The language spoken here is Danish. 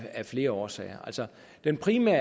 af flere årsager den primære